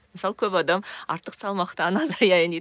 мысалы көп адам артық салмақтан азаяйын дейді